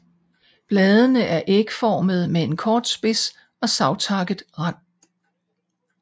Bladene er ægformede med en kort spids og savtakket rand